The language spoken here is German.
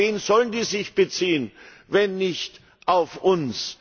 Denn auf wen sollen die sich beziehen, wenn nicht auf uns?